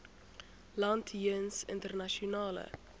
land jeens internasionale